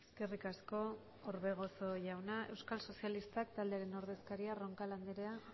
eskerrik asko orbegozo jauna euskal sozialistak taldearen ordezkaria roncal andrea